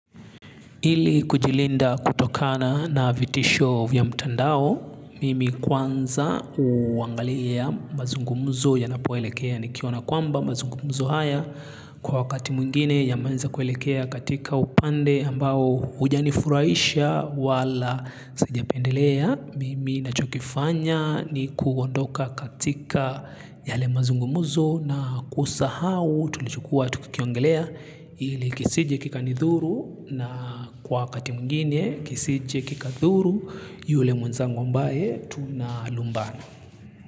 Ili kujilinda kutokana na vitisho vya mtandao, mimi kwanza huangalia mazungumuzo yanapoelekea nikiona kwamba mazungumuzo haya kwa wakati mwingine yameanza kuelekea katika upande ambao hujanifurahisha wala sijapendelea. Mimi nachokifanya ni kuondoka katika yale mazungumuzo na kusahau tulichokuwa tukikiongelea ili kisije kikanidhuru na kwa wakati mwingine kisije kikadhuru yule mwenzangu ambaye tunalumbana.